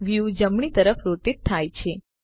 view જમણી તરફ rotate થાય છે